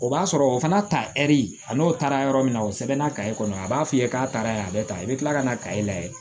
O b'a sɔrɔ o fana ta ɛri a n'o taara yɔrɔ min na o sɛbɛn na kaye kɔnɔ a b'a f'i ye k'a taara ye a bɛ tan i bɛ tila ka na kaye lajɛ